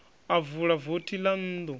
a vula vothi ḽa nnḓu